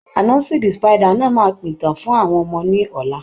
Anasi the spider máa pa ìtàn fún àwọn ọmọ náà ní ọ̀la.